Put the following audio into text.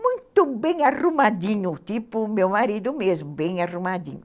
Muito bem arrumadinho, tipo o meu marido mesmo, bem arrumadinho.